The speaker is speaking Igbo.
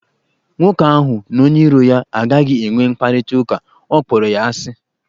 Nwoke ahụ na onye iro ya agaghị enwe mkparịta ụka, ọ kpọrọ ya asị.